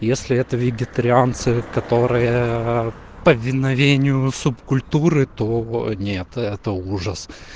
если это вегетарианцы которая повиновению субкультуры то нет это ужас